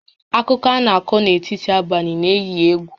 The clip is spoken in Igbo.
Akụkọ a na-akọ n'etiti abalị na-éyí égwù